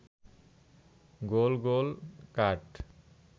গোল গোল কাঠ